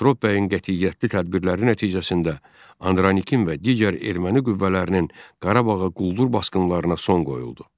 Xosrov bəyin qətiyyətli tədbirləri nəticəsində Andranikin və digər erməni qüvvələrinin Qarabağa quldur basqınlarına son qoyuldu.